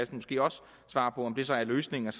måske også svare på om det så er løsningen at